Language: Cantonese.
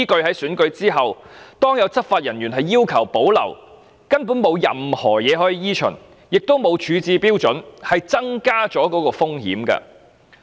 在選舉後，當有執法人員要求保留時，根本沒有任何指引可依循，亦沒有處置標準，因而增加當中的風險。